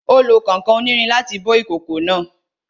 Ó lo kànkàn onírin láti bó ìkòkò náà